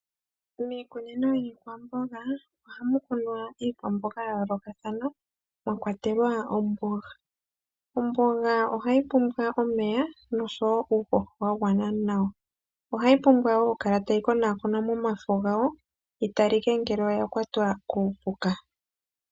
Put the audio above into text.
Miikunino yiikwamboga ohamu kunwa iikwamboga ya yoolokathana, mwa kwatelwa omboga. Omboga ohayi pumbwa omeya, nosho wo uuhoho wa gwana nawa. Ohayi pumbwa wo okukala tayi konakonwa momafo gayo yi talike ngele oya kwatwa kuupuka.